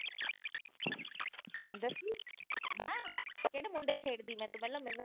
ਦੱਸੀ ਨਾ ਕਿਹੜੇ ਮੁੰਡੇ ਛੇੜਦੀ, ਪਹਿਲਾ ਤੂੰ ਮੈਨੂੰ ਦੱਸ।